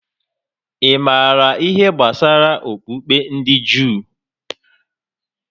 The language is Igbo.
Ị maara ihé gbásárá okpukpe ndị Juu?